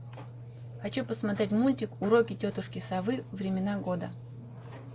хочу посмотреть мультик уроки тетушки совы времена года